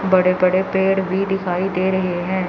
बड़े बड़े पेड़ भी दिखाई दे रहे हैं।